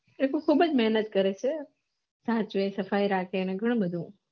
એતો ખુબજ મેહનત કરે છે સફાઈ રાખે અને ઘણું બધું